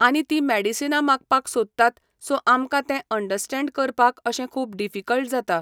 आनी ती मेडिसना मागपाक सोदतात सो आमकां ते अंडस्टेंड करपाक अशें खूब डिफिकल्ट जाता.